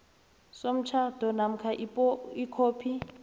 somtjhado namkha ikhophi